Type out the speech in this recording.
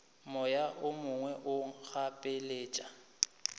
moya o mongwe o gapeletšwa